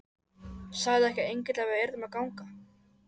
Sagði ekki engillinn að við yrðum að ganga?